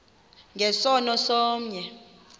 nge sono somnye